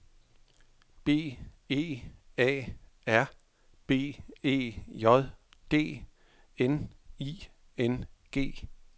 B E A R B E J D N I N G